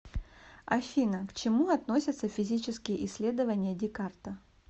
афина к чему относятся физические исследования декарта